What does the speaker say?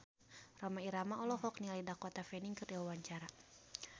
Rhoma Irama olohok ningali Dakota Fanning keur diwawancara